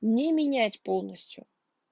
не менять полностью